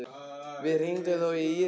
Við hringdum þó í Írisi og